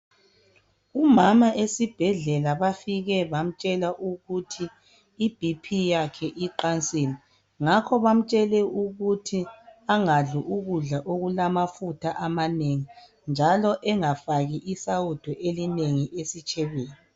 Umama esibhedlela bafike bamtshela ukuthi iBP yakhe iqansile. Ngakho bamtshele ukuthi angadli ukudla okulamafutha amanengi njalo engafaki isawudo elinengi esitshebeni.